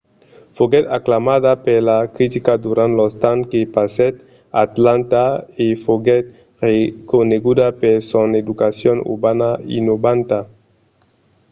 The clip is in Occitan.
foguèt aclamada per la critica durant lo temps que passèt a atlanta e foguèt reconeguda per son educacion urbana innovanta